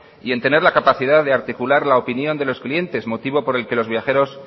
y en tener la capacidad de articular la opinión de los clientes motivo por el que los viajeros